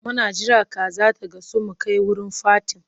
Muna jira kaza ta gasu mu kai wurin fatin.